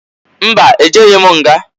Mba! E jeghi m nga.